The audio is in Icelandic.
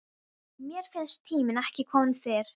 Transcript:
Mér fannst tíminn ekki kominn fyrr.